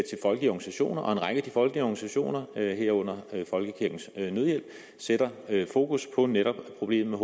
organisationer og en række af de folkelige organisationer herunder folkekirkens nødhjælp sætter fokus på netop problemet